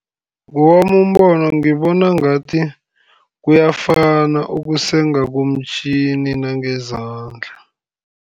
Ngewami umbono ngibona ngathi, kuyafana ukusenga komtjhini nangezandla.